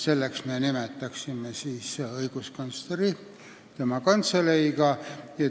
Selleks me nimetaksime õiguskantsleri koos tema kantseleiga.